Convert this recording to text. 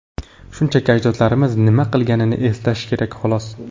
shunchaki ajdodlarimiz nima qilganini eslash kerak, xolos.